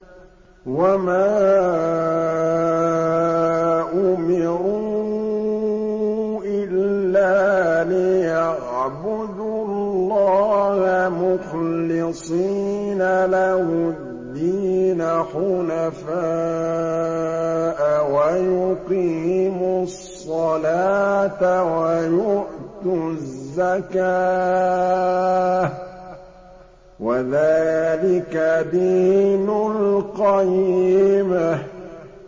وَمَا أُمِرُوا إِلَّا لِيَعْبُدُوا اللَّهَ مُخْلِصِينَ لَهُ الدِّينَ حُنَفَاءَ وَيُقِيمُوا الصَّلَاةَ وَيُؤْتُوا الزَّكَاةَ ۚ وَذَٰلِكَ دِينُ الْقَيِّمَةِ